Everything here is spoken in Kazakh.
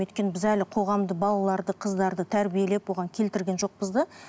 өйткені біз әлі қоғамды балаларды қыздарды тәрбиелеп оған келтірген жоқпыз да